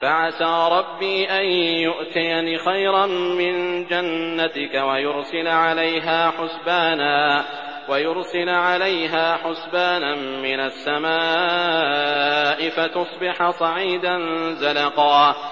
فَعَسَىٰ رَبِّي أَن يُؤْتِيَنِ خَيْرًا مِّن جَنَّتِكَ وَيُرْسِلَ عَلَيْهَا حُسْبَانًا مِّنَ السَّمَاءِ فَتُصْبِحَ صَعِيدًا زَلَقًا